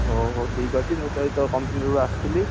ହଉ ହଉ ଠିକ ଅଛି ମୁଁ ତ ଏଇ company ରୁ ଆସିଲି